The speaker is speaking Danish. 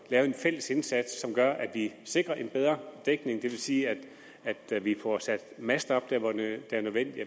lavet en fælles indsats som gør at vi sikrer en bedre dækning det vil sige at vi får sat master op der hvor det er nødvendigt